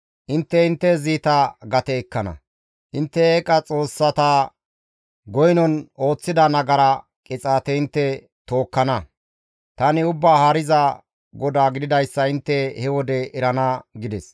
Intte intte ziita gate ekkana; intte eeqa xoossata goynon ooththida nagara qixaate intte tookkana; tani Ubbaa Haariza GODAA gididayssa intte he wode erana» gides.